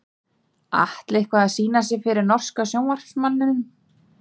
Atli eitthvað að sýna sig fyrir norska sjónvarpsmanninum?